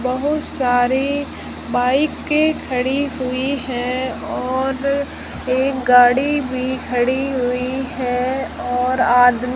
बहुत सारी बाइके खड़ी हुई है और एक गाड़ी भी खड़ी हुई है और आदमी--